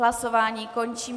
Hlasování končím.